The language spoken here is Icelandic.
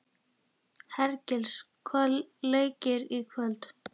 Hergils, hvaða leikir eru í kvöld?